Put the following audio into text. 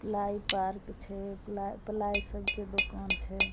Ply park छे ply ply सब के दुकान छे।